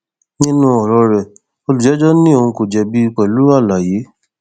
nínú ọrọ rẹ olùjẹjọ ní òun kò jẹbi pẹlú àlàyé